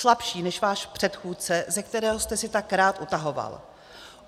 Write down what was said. Slabší než váš předchůdce, ze kterého jste si tak rád utahoval.